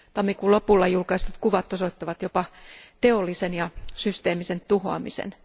Tammikuun lopulla julkaistut kuvat osoittavat jopa teollisen ja systeemisen tuhoamisen.